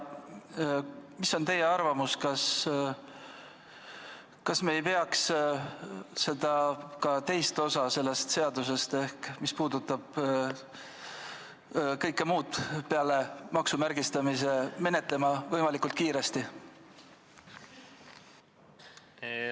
Mis on teie arvamus, kas me ei peaks ka teist osa sellest seadusest, kõike muud peale maksumärgistamise, menetlema võimalikult kiiresti?